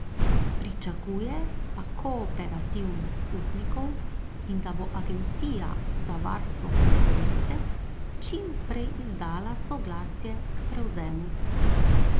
Pričakuje pa kooperativnost upnikov in da bo agencija za varstvo konkurence čim prej izdala soglasje k prevzemu.